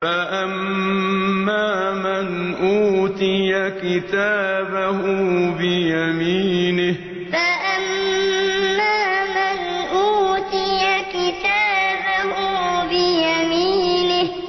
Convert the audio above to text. فَأَمَّا مَنْ أُوتِيَ كِتَابَهُ بِيَمِينِهِ فَأَمَّا مَنْ أُوتِيَ كِتَابَهُ بِيَمِينِهِ